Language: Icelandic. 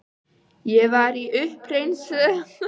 Ég var í uppreisnarliði um skeið en valdi embættiskerfið.